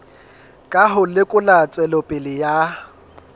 ka ho lekola tswelopele ya